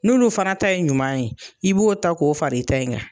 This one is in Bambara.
N'olu fana ta ye ɲuman ye, i b'o ta k'o far'i ta in kan.